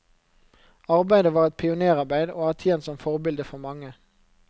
Arbeidet var et pionérarbeid, og har tjent som forbilde for mange.